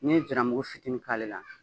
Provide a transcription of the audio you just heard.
Ni ye ziramugu fitinin k'ale la